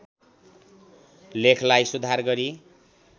लेखलाई सुधार गरि